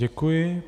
Děkuji.